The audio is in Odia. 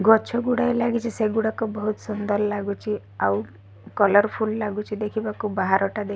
ଗଛ ଗୁଡ଼ାଏ ଲାଗିଚି ସେଗୁଡ଼ାକ ବୋହୁତ ସୁନ୍ଦର ଲାଗୁଚି‌। ଆଉ କଲରଫୁଲ୍ ଲାଗୁଚି ଦେଖି ବାକୁ ବାହାଟା। ଦେ --